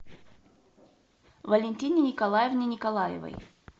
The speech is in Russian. валентине николаевне николаевой